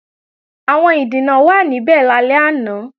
Àwọn ìdìnà wàá níbẹ̀ lálẹ́ àná